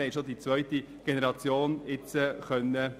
Wir haben bereits Einblick in die zweite Generation nehmen können.